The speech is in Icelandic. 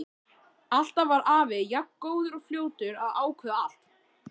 Alltaf var afi jafn góður og fljótur að ákveða allt.